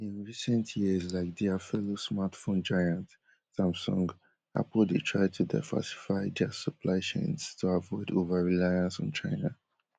in recent years like dia fellow smartphone giant samsung, apple dey try to diversfy dia supply chains to avoid overreliance on china